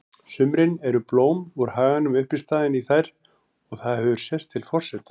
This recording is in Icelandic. sumrin eru blóm úr haganum uppistaðan í þær og það hefur sést til forseta